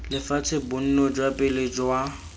lefatshe bonno jwa pele jwa